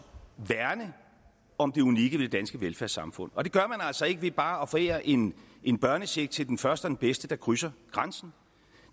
værne om det unikke ved det danske velfærdssamfund og det gør man altså ikke ved bare at forære en en børnecheck til den første den bedste der krydser grænsen